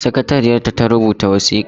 Sakatariyar ta ta rubuta wasikar.